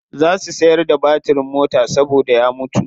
Za su siyar da batirin mota saboda ya mutu.